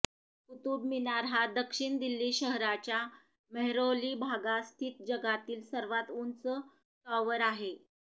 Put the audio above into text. कुतुब मिनार हा दक्षिण दिल्ली शहराच्या मेहरौली भागात स्थित जगातील सर्वात उंच टॉवर आहे